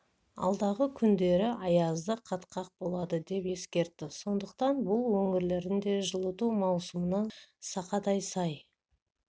алдағы күндері аязды қатқақ болады деп ескертті сондықтан бұл өңірлердің де жылыту маусымына сақадай сай